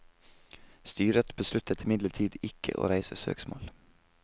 Styret besluttet imidlertid ikke å reise søksmål.